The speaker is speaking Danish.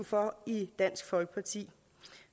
for i dansk folkeparti